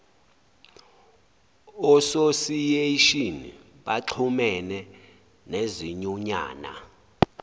ososiyeshini baxhumene nezinyunyana